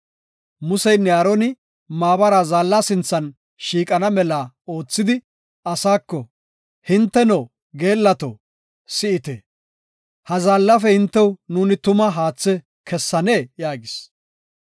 Museynne Aaroni maabara zaalla sinthan shiiqana mela oothidi, asaako, “Hinteno geellato, si7ite; ha zaallafe hintew nuuni tuma haathe kessanee?” yaagis.